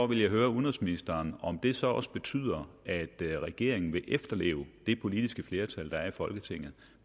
vil høre udenrigsministeren om det så også betyder at regeringen vil efterleve det politiske flertal der er i folketinget